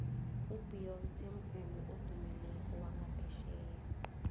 ubeyonce mvumi odumileko wanga phetjheya